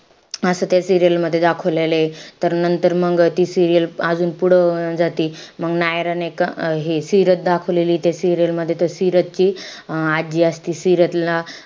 असं त्या serial मध्ये दाखवलेलंय. तर नंतर मंग ती serial अजून पुढं होऊन जाती. मंग नायरा नाई का हे सिरत दाखवलेलीय त्या serial मध्ये. त सिरतची आजी असती. सिरतला,